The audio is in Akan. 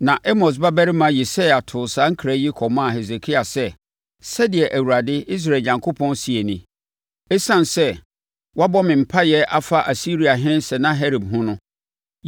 Na Amos babarima Yesaia too saa nkra yi kɔmaa Hesekia sɛ, “Sɛdeɛ Awurade, Israel Onyankopɔn seɛ nie: Esiane sɛ woabɔ me mpaeɛ afa Asiriahene Sanaherib ho no,